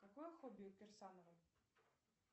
какое хобби у кирсановой